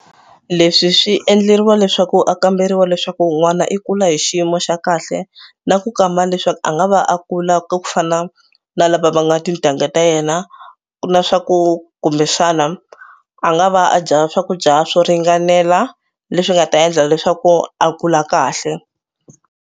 Leswi swi endleriwa leswaku a kamberiwa leswaku n'wana i kula hi xiyimo xa kahle na ku kamba leswaku a nga va a kula ku fana na lava va nga tintangha ta yena na swa ku kumbexana a nga va a dya swakudya swo ringanela leswi nga ta endla leswaku a kula kahle.